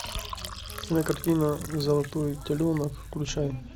кинокартина золотой теленок включай